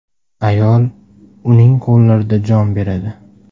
Ayoli uning qo‘llarida jon beradi.